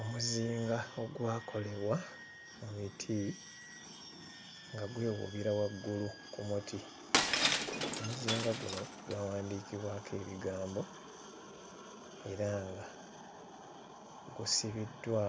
Omuzinga ogwakolebwa mu miti nga gwewuubira waggulu ku muti. Omuzinga guno gwawandiikibwako ebigambo era nga gusibiddwa